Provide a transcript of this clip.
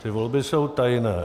Ty volby jsou tajné.